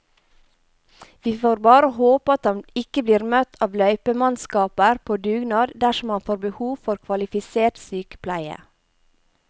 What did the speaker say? Vi får bare håpe at han ikke blir møtt av løypemannskaper på dugnad dersom han får behov for kvalifisert sykepleie.